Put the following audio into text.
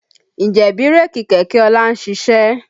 Ǹjẹ́ bírèkì kẹ̀kẹ́ ọlá ń ṣiṣẹ́?